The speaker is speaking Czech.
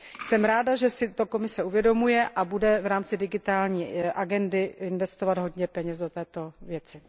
Jsem ráda, že si to Komise uvědomuje a bude v rámci digitální agendy investovat hodně peněz do této věci.